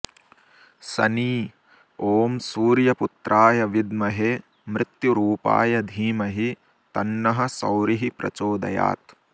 शनी ॐ सूर्यपुत्राय विद्महे मृत्युरूपाय धीमहि तन्नः सौरिः प्रचोदयात्